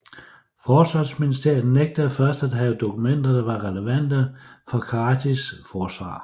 Forsvarsministeriet nægtede først at have dokumenter der var relevante for Karadzics forsvar